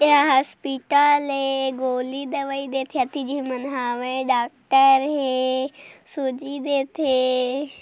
ए हा हॉस्पिटल ए गोली दवाई देते अति झिन मन हावय डॉकटर हे सूजी देथे।